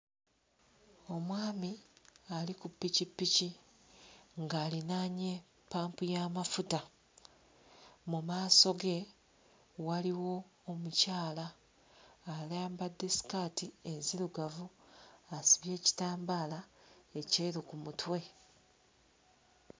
Omwami ali ku ppikippiki ng'alinaanye ppampu y'amafuta, mu maaso ge waliwo omukyala ayambadde sikaati enzirugavu asibye ekitambaala ekyeru ku mutwe.